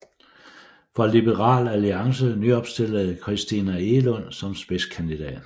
For Liberal Alliance nyopstillede Christina Egelund som spidskandidat